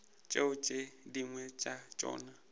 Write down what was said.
tšeo tše dingwe tša tšona